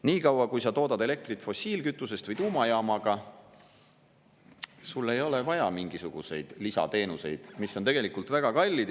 Nii kaua, kui sa toodad elektrit fossiilkütusest või tuumajaamaga, sul ei ole vaja mingisuguseid lisateenuseid, mis on tegelikult väga kallid.